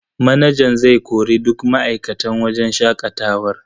Manajan zai kori duk ma'aikatan wajen shaƙatawar.